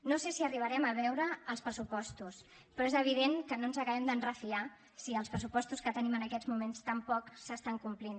no sé si arribarem a veure els pressupostos però és evident que no ens acabem de refiar si els pressupostos que tenim en aquests moments tampoc s’estan complint